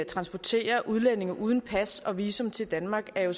transporterer udlændinge uden pas og visum til danmark er jo